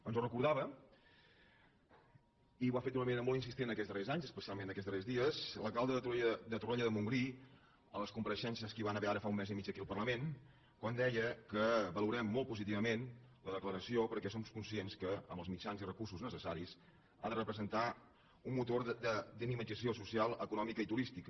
ens ho recordava i ho ha fet d’una manera molt insistent aquests darrers anys espe·cialment aquests darrers dies l’alcalde de torroella de montgrí a les compareixences que hi van haver ara fa un mes i mig aquí al parlament quan deia que valorem molt positivament la declaració perquè som conscients que amb els mitjans i recursos necessaris ha de repre·sentar un motor de dinamització social econòmica i turística